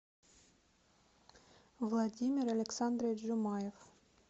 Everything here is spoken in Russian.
владимир александрович жумаев